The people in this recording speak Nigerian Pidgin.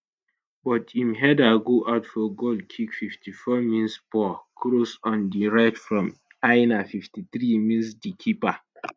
but im header go out for goal kick 54 minspoor cross on di right from aina 53 minsdi keeper